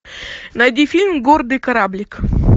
найди фильм гордый кораблик